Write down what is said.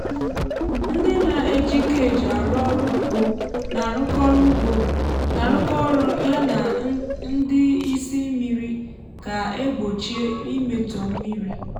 ndị na-eji cage arụ ọrụ ugbo na-arụkọ ọrụ ugbo na-arụkọ ọrụ ya na ndị ị́sị́ mmiri ka egbochie mmetọ na mmírí.